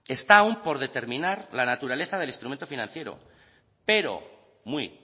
está aún por determinar la naturaleza del instrumento financiero pero muy